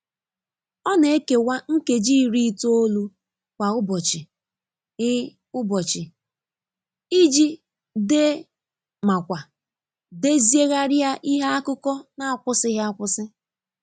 Ọ na e kewa nkeji iri itoolu kwa ụbọchị i ụbọchị i ji dee ma kwa deziegharia ihe akụkọ n'akwusighị akwụsị.